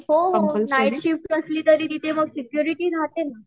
हो हो night shift असली तरी मग तिथे सेक्युरिटी राहते न